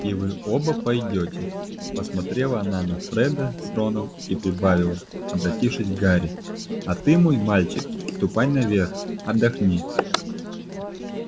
и вы оба пойдёте посмотрела она на фреда с роном и прибавила обратившись к гарри а ты мой мальчик ступай наверх отдохни